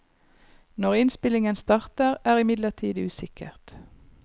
Når innspillingen starter, er imidlertid usikkert.